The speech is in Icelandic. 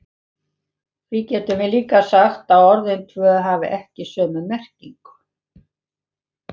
Því getum við líka sagt að orðin tvö hafi ekki sömu merkingu.